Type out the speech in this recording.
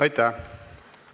Aitäh!